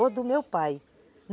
ou do meu pai.